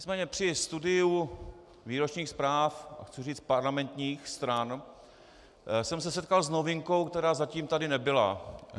Nicméně při studiu výročních zpráv, a chci říct parlamentních stran, jsem se setkal s novinkou, která zatím tady nebyla.